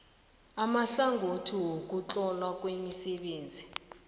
amahlangothi wokuhlolwa kwemisebenzi